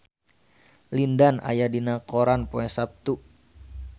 Lin Dan aya dina koran poe Saptu